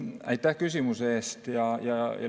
Aitäh küsimuse eest!